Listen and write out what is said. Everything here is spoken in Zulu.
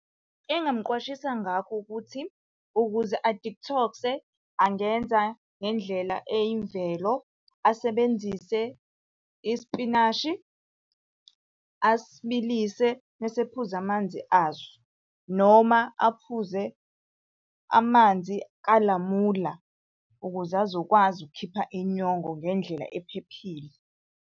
Engingamuqwashisa ngakho ukuthi, ukuze a-detox-e angenza ngendlela eyimvelo, asebenzise isipinashi, asibilise mese ephuza amanzi aso. Noma aphuze amanzi kalamula ukuze azokwazi ukukhipha inyongo ngendlela ephephile.